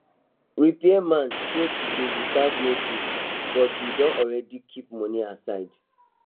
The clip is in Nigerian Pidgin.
repairman show today without notice but we don already keep money aside